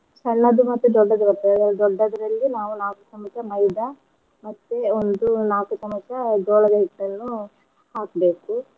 ಸಣ್ಣದು ಮತ್ತು ದೊಡ್ಡದು ಬರ್ತದಲ್ಲ ಅದ್ರಲ್ಲಿ ದೊಡ್ಡದ್ರಲ್ಲಿ ನಾವು ನಾಕು ಚಮ್ಚ ಮೈದಾ ಮತ್ತೆ ಒಂದು ನಾಕು ಚಮಚ ಜೋಳದ ಹಿಟ್ಟನ್ನು ಹಾಕ್ಬೇಕು